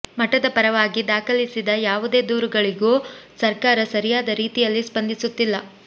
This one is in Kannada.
ಮಠದ ಪರವಾಗಿ ದಾಖಲಿಸಿದ ಯಾವುದೇ ದೊರುಗಳಿಗೂ ಸರ್ಕಾರ ಸರಿಯಾದ ರೀತಿಯಲ್ಲಿ ಸ್ಪಂದಿಸುತ್ತಿಲ್ಲ